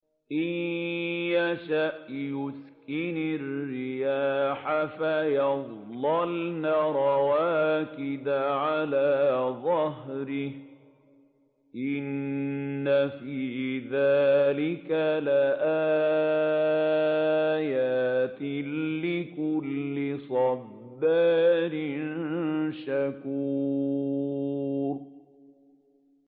إِن يَشَأْ يُسْكِنِ الرِّيحَ فَيَظْلَلْنَ رَوَاكِدَ عَلَىٰ ظَهْرِهِ ۚ إِنَّ فِي ذَٰلِكَ لَآيَاتٍ لِّكُلِّ صَبَّارٍ شَكُورٍ